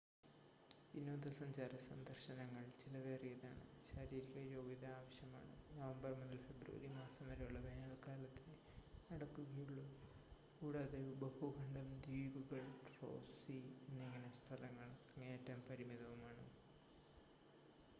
വിനോദസഞ്ചാര സന്ദർശനങ്ങൾ ചിലവേറിയതാണ്, ശാരീരിക യോഗ്യത ആവശ്യമാണ്, നവംബർ മുതൽ ഫെബ്രുവരി മാസം വരെയുള്ള വേനൽക്കാലത്തേ നടക്കുകയുള്ളു കൂടാതെ ഉപഭൂഖണ്ഡം ദ്വീപുകൾ റോസ് സീ എന്നിങ്ങനെ സ്ഥലങ്ങൾ അങ്ങേയറ്റം പരിമിതവുമാണ്